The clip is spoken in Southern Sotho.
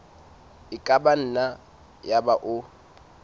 e ka nna yaba o